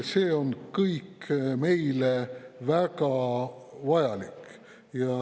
See kõik on meile väga vajalik.